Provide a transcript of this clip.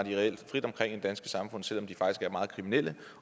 reelt frit omkring i det danske samfund selv om de faktisk er meget kriminelle